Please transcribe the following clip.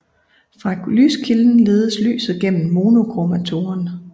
Fra lyskilden ledes lyset gennem monochromatoren